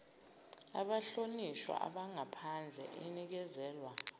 abahlonishwa bangaphandle inikezelwa